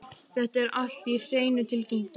Þetta er allt á hreinu, tilkynnti hún.